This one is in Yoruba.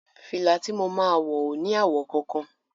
Fìlà ti mo máa wọ̀ ò ní àwọ̀ kankan.